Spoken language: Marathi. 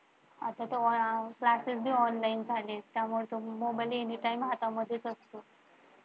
आता तर Classes पण Online झालेत त्यामुळे तो मोबाइलला anytime असतो.